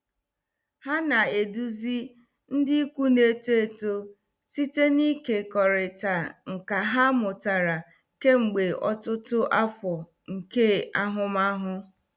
Ha na-eduzi ndị ikwu na-eto eto site n'ịkekọrịta nkà ha mụtara kemgbe ọtụtụ afọ nke ahụmahụ.